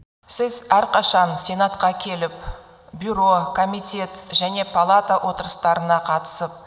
сіз әрқашан сенатқа келіп бюро комитет және палата отырыстарына қатысып